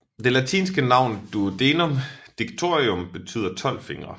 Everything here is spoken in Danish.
Det latinske navn duodenum digitorum betyder 12 fingre